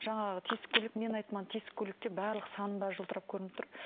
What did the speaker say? жаңағы тесік көйлек мен айттым ана тесік көйлекте барлық саным бәрі жылтырап көрініп тұр